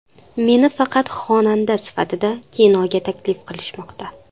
Meni faqat xonanda sifatida kinoga taklif qilishmoqda.